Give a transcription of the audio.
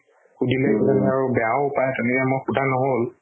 সুধিলে কিজানি বেয়াও পাই তেনেকা মই সুধা নহল